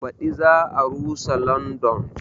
Baɗi za a rusa London